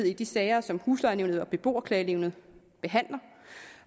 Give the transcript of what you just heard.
i de sager som huslejenævnet og beboerklagenævnet behandler